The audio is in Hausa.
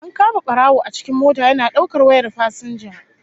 An kama barawo a cikin mota yana daukar wayar fasinja